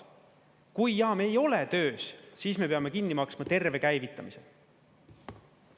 Kui jaam ei ole töös, siis me peame kinni maksma terve käivitamise.